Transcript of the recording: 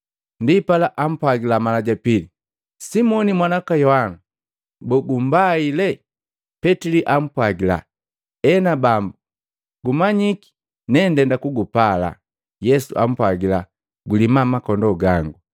Ndipala ampwagila mala ja pili, “Simoni mwana waka Yohana! Boo, gumbaile?” Petili ampwagila, “Ena Bambu gumanyiki nendenda kugupala.” Yesu ampwagila, “Gulima makondoo gangu.”